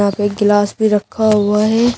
और एक गिलास भी रखा हुआ है।